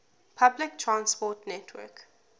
public transport network